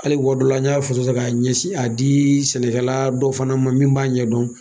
Hali waati dɔ la n y'a foto ta ka ɲɛsin a di sɛnɛkɛla dɔ fana ma min b'a ɲɛ dɔn